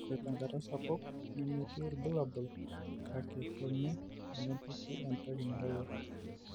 ore tenkata sapuk nemetii ilbulabol kake keme tenipiki entiki nairowua